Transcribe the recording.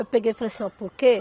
Eu peguei e falei assim, ó, por quê?